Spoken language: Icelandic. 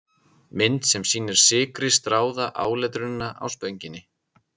Mynd sem sýnir sykri stráða áletrunina á Spönginni.